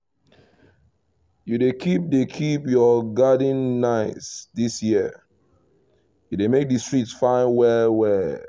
you dey keep dey keep your garden nice this year — e dey make the street fine well well